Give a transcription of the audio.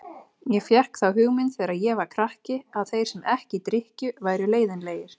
Ég fékk þá hugmynd þegar ég var krakki að þeir sem ekki drykkju væru leiðinlegir.